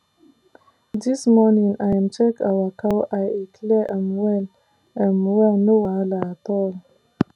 this morning i um check our cow eye e clear um well um well no wahala at all